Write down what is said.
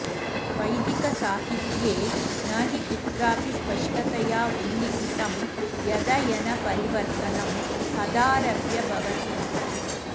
वैदिकसाहित्ये न हि कुत्रापि स्पष्टतयोल्लिखितं यदयनपरिवर्तनं कदारभ्य भवतीति